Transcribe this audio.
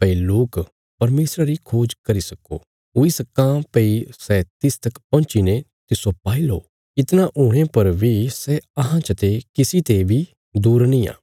भई लोक परमेशरा री खोज करी सक्को हुई सक्कां भई सै तिस तक पहुँची ने तिस्सो पाईलो इतणा हुणे पर बी सै अहां चते किसी ते बी दूर निआं